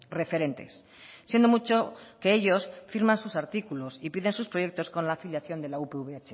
referentes siendo mucho que ellos firman sus artículos y piden sus proyectos con la afiliación de la upv